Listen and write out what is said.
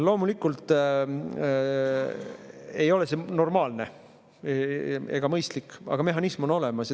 Loomulikult ei ole see normaalne ega mõistlik, aga mehhanism on olemas.